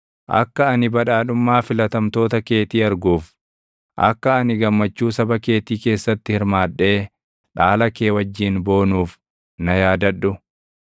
akka ani badhaadhummaa filatamtoota keetii arguuf, akka ani gammachuu saba keetii keessatti hirmaadhee dhaala kee wajjin boonuuf na yaadadhu.